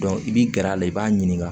i bi gɛrɛ a la i b'a ɲininka